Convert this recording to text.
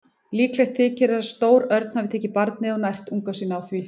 Líklegt þykir að stór örn hafi tekið barnið og nært unga sína á því.